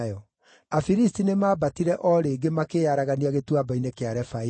Afilisti nĩmambatire o rĩngĩ makĩĩaragania Gĩtuamba-inĩ kĩa Refaimu;